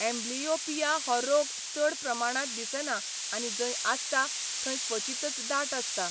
Amblyopia हो रोग चड प्रमाणांत दिसना आनी जंय आसता थंय क्वचितच दाट आसता.